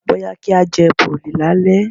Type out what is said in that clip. Bóyá kí á jẹ Bọ̀lì lálẹ́.